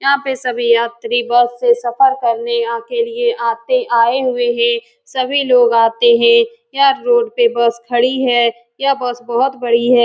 यहाँ पर सभी यात्री बस से सफ़र करने यहाँ के लिए आते आये हुए हैं सभी लोग आते हैं | यह रोड पर बस खड़ी है यह बस बहुत बड़ी है।